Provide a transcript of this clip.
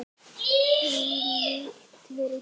Hvílíkt rugl!